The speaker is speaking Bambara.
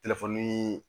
Telefoni